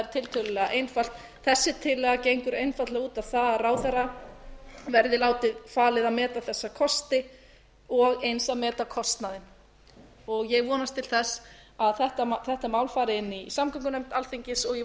tiltölulega einfalt þessi tillaga gengur einfaldlega út á það að ráðherra verði falið að meta þessa kosti og eins að meta þessa kosti og eins að meta kostnaðinn ég vonast til þess að þetta mál far til samgöngunefndar alþingis og ég